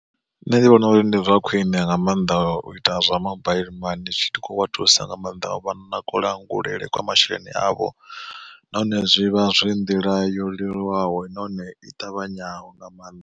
Nṋe ndi vhona uri ndi zwa khwiṋe nga maanḓa u ita zwa mabaiḽi mani zwi tshi khou vha thusa nga maanḓa u vha na kulangulele kwa masheleni avho, nahone zwi vha zwi nḓila yo leluwaho nahone i ṱavhanyaho nga maanḓa.